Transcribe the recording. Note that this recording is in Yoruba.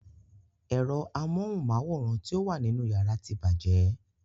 Ero amóhunmáwòrán ti o wà nínú yàrá tí bàjẹ́.